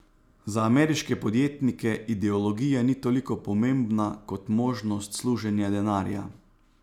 Za ameriške podjetnike ideologija ni toliko pomembna kot možnost služenja denarja.